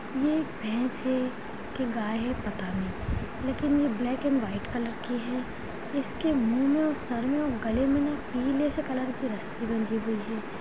ये एक भैंस है के गाय पता नहीं लेकिन ब्लैक एण्ड व्हाइट की है इसके मुँह मे सर मे गले मे पीले से कलर की रस्सी बंधी हुई है।